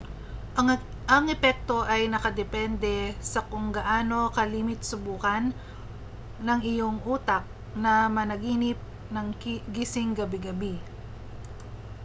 ang epekto ay nakadepende sa kung gaano kalimit subukan ng iyong utak na managinip ng gising gabi-gabi